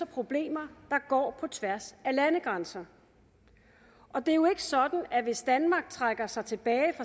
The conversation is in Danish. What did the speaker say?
problemer der går på tværs af landegrænser det er jo ikke sådan at hvis danmark trækker sig tilbage